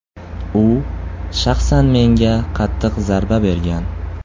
U shaxsan menga qattiq zarba bergan.